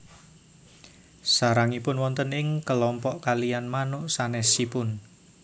Sarangipun wonten ing kelompok kaliyan manuk sanésipun